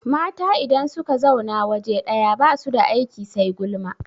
Mata idan suka zauna waje ɗaya basu da aiki sai gulma